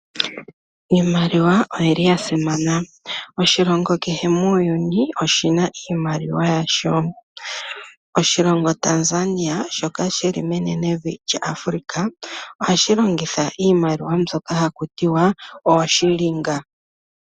Iimaliwa oya simana. Oshilongo kehe muuyuni oshi na iimaliwa yasho. Oshilongo Tanzania, shoka shi li menenevi lyaAfrica ohashi longitha iimaliwa mbyoka haku tiwa ooShillings.